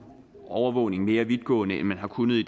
overvågning mere vidtgående end man har kunnet i